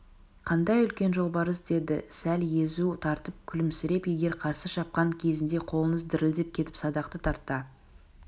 қандай үлкен жолбарыс деді сәл езу тартып күлімсіреп егер қарсы шапқан кезінде қолыңыз дірілдеп кетіп садақты тарта